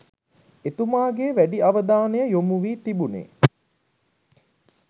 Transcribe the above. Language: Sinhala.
එතුමාගේ වැඩි අවධානය යොමුවී තිබුනේ